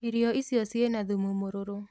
Iroi icio ciĩna thumu mũrũrũ